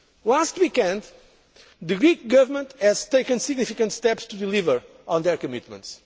Last weekend, the Greek Government took significant steps to deliver on their commitments.